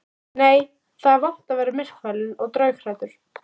Nei, það er vont að vera myrkfælinn og draughræddur.